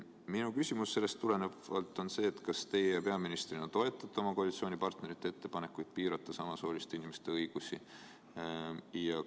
Minu küsimus sellest tulenevalt on: kas teie peaministrina toetate oma koalitsioonipartnerite ettepanekuid piirata samasooliste inimeste õigusi?